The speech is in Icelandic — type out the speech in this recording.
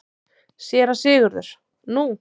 SÉRA SIGURÐUR: Nú?